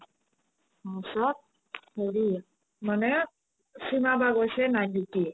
তাৰ পিছত হেৰি মানে চিমা বা গৈছে night duty